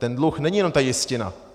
Ten dluh není jenom ta jistina.